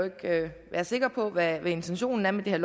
sikker på hvad intentionen er med det